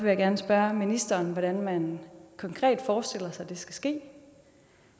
jeg gerne spørge ministeren hvordan man konkret forestiller sig det skal ske